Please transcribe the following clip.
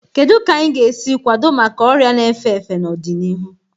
Kedu ka anyị ga-esi kwado maka ọrịa na-efe efe n'ọdịnihu?